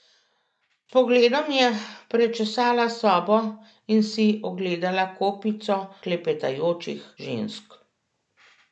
S pogledom je prečesala sobo in si ogledala kopico klepetajočih žensk.